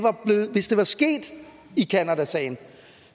hvis det var sket i canadasagen